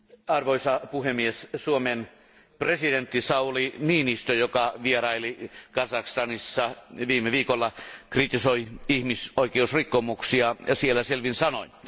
Arvoisa puhemies, Suomen presidentti Sauli Niinistö, joka vieraili Kazakstanissa viime viikolla, kritisoi ihmisoikeusrikkomuksia siellä selvin sanoin.